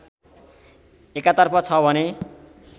एकातर्फ छ भने